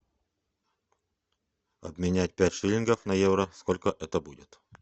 обменять пять шиллингов на евро сколько это будет